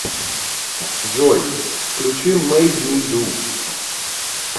джой включи мэйд ми ду